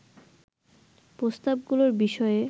প্রস্তাবগুলোর বিষয়ে